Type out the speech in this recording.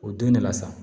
O don ne la sa